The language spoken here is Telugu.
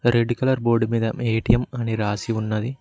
రెడ్ కలర్ బోర్డ్ మీద మే ఏ_టి_ఎమ్ అని రాసి ఉన్నది.